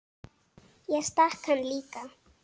Ég stakk hann líka.